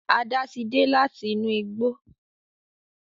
Ada tí dé láti inú igbó